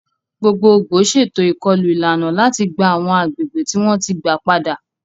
Gbogbogbò ṣètò ìkọlù ìlànà láti gba àwọn agbègbè tí wọ́n ti gba padà.